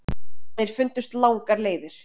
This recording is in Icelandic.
Þeir fundust langar leiðir.